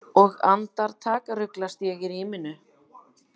Og andartak ruglast ég í ríminu.